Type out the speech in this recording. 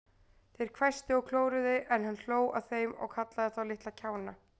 Þeir hvæstu og klóruðu, en hann hló að þeim og kallaði þá litla kjána.